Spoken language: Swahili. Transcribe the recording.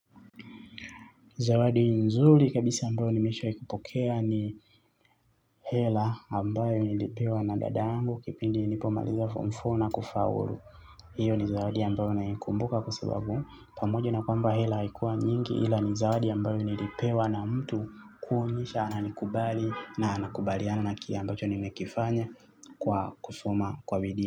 Zawadi nzuri kabisa ambayo nimeshai kupokea ni hela ambayo nilipewa na dadangu kipindi nipomaliza mfomu fo na kufaulu. Iyo ni zawadi ambayo naikumbuka kwa sababu pamoja na kwamba hela haikuwa nyingi ila ni zawadi ambayo nilipewa na mtu kuonyesha ana nikubali na anakubaliana na kile ambacho nimekifanya kwa kusoma kwa bidii.